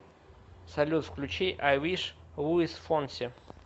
салют включи ай виш луис фонси